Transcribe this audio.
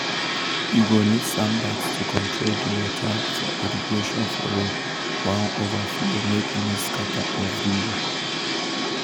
you go need sandbags to control di water um for irrigation furrow wan overflow make e no scatter everywhere.